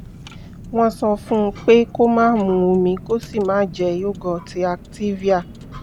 wọ́n sọ fún un pé kó máa mu omi kó sì máa jẹ yogurt activia